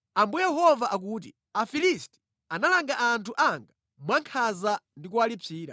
“Ambuye Yehova akuti, ‘Afilisti analanga anthu anga mwankhanza ndi kuwalipsira.